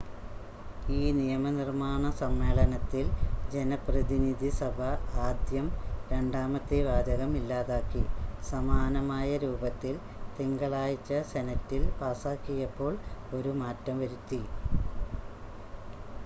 ഈ നിയമനിർമ്മാണ സമ്മേളനത്തിൽ ജനപ്രതിനിധിസഭ ആദ്യം രണ്ടാമത്തെ വാചകം ഇല്ലാതാക്കി സമാനമായ രൂപത്തിൽ തിങ്കളാഴ്ച സെനറ്റിൽ പാസാക്കിയപ്പോൾ ഒരു മാറ്റം വരുത്തി